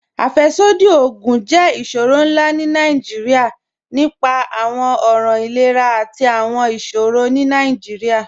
Afẹ́ṣọdí ogun jẹ́ iṣọrọ̀ nlá ni Nigeria, ní fá àwọn ọ̀ràn ìlẹ̀rà àti àwọn iṣọrọ̀ ni awújọ̀.